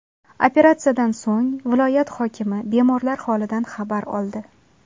Operatsiyadan so‘ng viloyat hokimi bemorlar holidan xabar oldi.